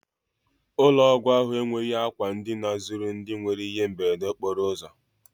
Ụlọ ọgwụ ahụ enweghị àkwà ndina zuru ndị nwere ihe mberede okporo ụzọ.